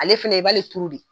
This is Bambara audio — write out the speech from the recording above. Ale fana i b'ale turu de